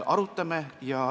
Arutame.